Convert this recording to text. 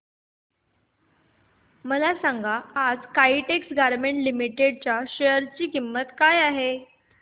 मला सांगा आज काइटेक्स गारमेंट्स लिमिटेड च्या शेअर ची किंमत काय आहे